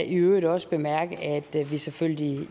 øvrigt også bemærke at vi selvfølgelig